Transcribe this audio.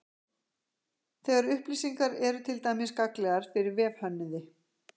Þessar upplýsingar eru til dæmis gagnlegar fyrir vefhönnuði.